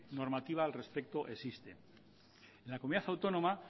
normativa al respecto existe en la comunidad autónoma